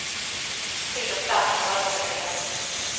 Tid och plats för bröllopet är hemligt.